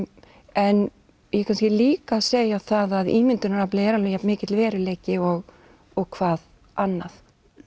en ég er kannski líka að segja það að ímyndunaraflið er jafnmikill veruleiki og og hvað annað